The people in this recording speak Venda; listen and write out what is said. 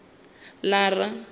lara